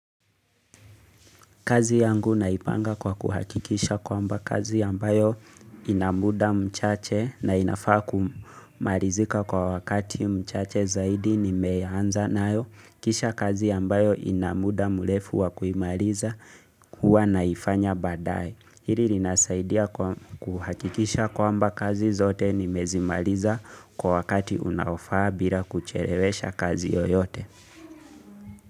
Kazi yangu naipanga kwa kuhakikisha kwamba kazi ambayo ina muda mchache na inafaa kumalizika kwa wakati mchache zaidi nimeanza nayo kisha kazi ambayo ina muda murefu wa kuimaliza kuwa naifanya baadae. Hili linasaidia kwa kuhakikisha kwamba kazi zote nimezimaliza kwa wakati unaofaa bila kuchelewesha kazi yoyote.